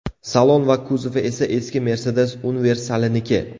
Salon va kuzovi esa eski Mercedes universaliniki.